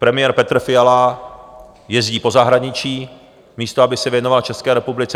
Premiér Petr Fiala jezdí po zahraničí, místo aby se věnoval České republice.